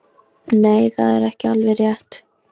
Nei, það er ekki alveg rétt.